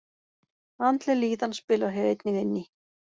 Andleg líðan spilar hér einnig inn í.